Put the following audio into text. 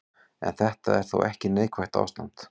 En þetta er þó ekki neikvætt ástand.